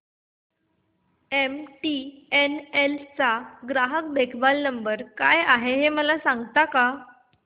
MTNL चा ग्राहक देखभाल नंबर काय आहे मला सांगता का